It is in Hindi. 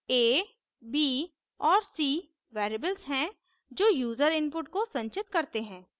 $a $b और $c variables हैं जो यूजर input को संचित करते हैं